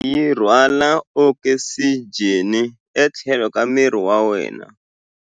Ngati yi rhwala okisijeni etlhelo ka miri wa wena.